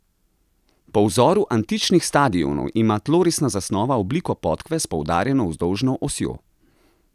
Po vzoru antičnih stadionov ima tlorisna zasnova obliko podkve s poudarjeno vzdolžno osjo.